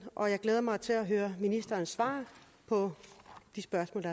og jeg glæder mig til at høre ministerens svar på de spørgsmål